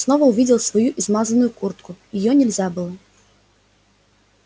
снова увидел свою измазанную куртку её нельзя было